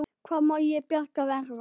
Hvað má til bjargar verða?